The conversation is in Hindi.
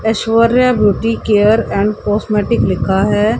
Aishwarya beauty care and cosmetic लिखा है।